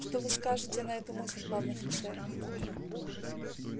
что вы скажете на эту мысль пан офицер